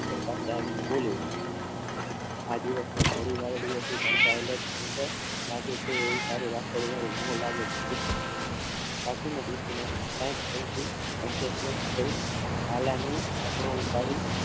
આ દિવસમાં ગોળી વાદળી હતી ઢંકાય અને ચંદ્ર લાગે છે અને મો લાગે છે કુસુમ કાકીને દેખીને ચમકી અને સ્વસ્થ થઈહાલાનો ઢાંકણું ઉપાડી